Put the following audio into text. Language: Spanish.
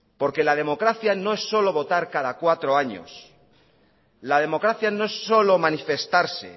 la democracia no es solo votar cada cuatro años la democracia no es solo manifestarse